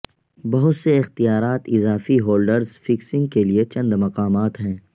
بہت سے اختیارات اضافی ہولڈرز فکسنگ کے لئے چند مقامات ہیں